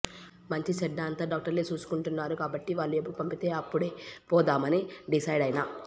మంచి చెడ్డ అంత డాక్టర్లే సూసుకుంటున్నరు కాబట్టి వాళ్లు ఎప్పుడు పంపితే అప్పుడే పోదామని డిసైడైన